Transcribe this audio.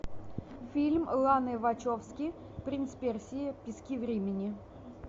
фильм ланы вачовски принц персии пески времени